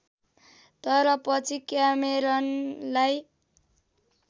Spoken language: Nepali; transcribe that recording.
तर पछि क्यामेरनलाई